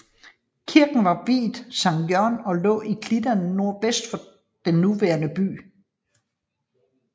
Kirken var viet Sankt Jørgen og lå i klitterne nordvest for den nuværende by